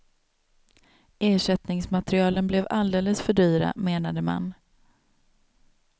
Ersättningsmaterialen blev alldeles för dyra, menade man.